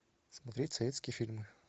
смотреть советские фильмы